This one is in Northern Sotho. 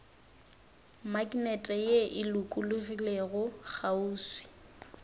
maknete ye e lokologilego kgauswi